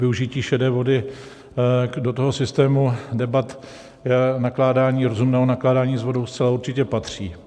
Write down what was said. Využití šedé vody do toho systému debat o nakládání, rozumném nakládání s vodou zcela určitě patří.